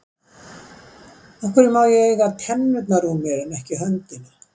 Af hverju má ég eiga tennurnar úr mér en ekki höndina?